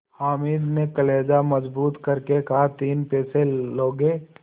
हामिद ने कलेजा मजबूत करके कहातीन पैसे लोगे